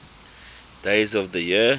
days of the year